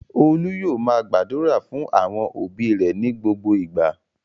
Olú yóò máa gbàdúrà fún àwọn òbí rẹ̀ ní gbogbo ìgbà.